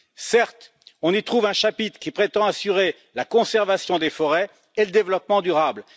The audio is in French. Certes, on y trouve un chapitre qui prétend assurer la conservation des forêts et le développement durable.